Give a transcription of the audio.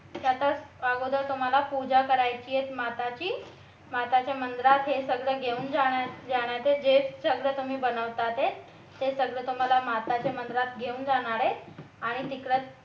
की आता अगोदर तुम्हाला पूजा करायची आहे माताची माताच्या मंदिरात हे सगळं घेऊन जाण्याचं जे सगळं तुम्ही बनवता ते सगळं तुम्हाला माताच्या मंदिरात घेऊन जाणार आहेत आणि तिकडेच तुम्ही